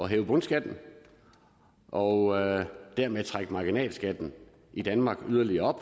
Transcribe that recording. hæve bundskatten og dermed trække marginalskatten i danmark yderligere op